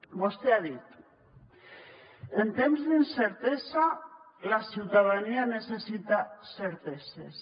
vostè ha dit en temps d’incertesa la ciutadania necessita certeses